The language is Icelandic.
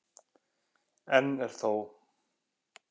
Enn er þó